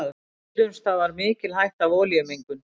Dýrum stafar mikil hætta af olíumengun.